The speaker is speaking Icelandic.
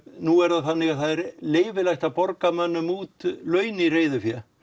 nú er það þannig að það er leyfilegt að borga mönnum út laun í reiðufé